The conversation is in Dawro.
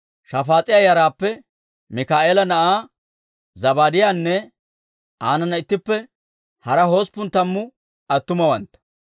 Shafaas'iyaa yaraappe Mikaa'eela na'aa Zabaadiyaanne aanana ittippe hara hosppun tammu attumawantta,